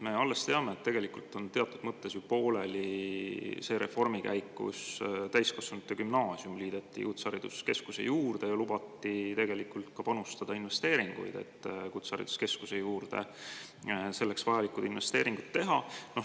Me teame, et tegelikult on alles pooleli see reform, mille käigus täiskasvanute gümnaasium liideti kutsehariduskeskuse juurde ja lubati selleks vajalikud investeeringud teha.